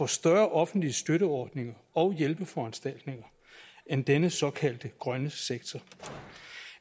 større offentlige støtteordninger og hjælpeforanstaltninger end den såkaldte grønne sektor